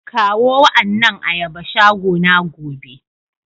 Kawo wa annan ayaba shagona gobe.